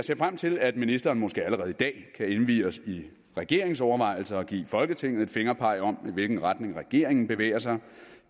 ser frem til at ministeren måske allerede i dag kan indvie os i regeringens overvejelser og give folketinget et fingerpeg om i hvilken retning regeringen bevæger sig